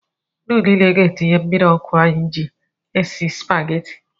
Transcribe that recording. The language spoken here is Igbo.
Nnu niile ga-etinye mmiri ọkụ anyị ji esi Spageti